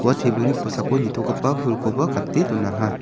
ua tebilni kosako nitogipa pulkoba gate donaha.